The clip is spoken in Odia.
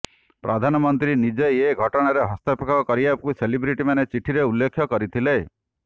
ପ୍ରଧାନମନ୍ତ୍ରୀ ନିଜେ ଏ ଘଟଣାରେ ହସ୍ତକ୍ଷେପ କରିବାକୁ ସେଲିବ୍ରିଟିମାନେ ଚିଠିରେ ଉଲ୍ଲେଖ କରିଥିଲେ